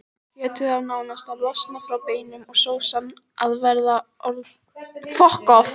Kjötið á nánast að losna frá beinum og sósan að vera orðin vel samlöguð.